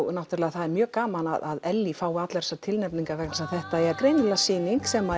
það er mjög gaman að Ellý fái allar þessar tilnefningar vegna þess að þetta er greinilega sýning sem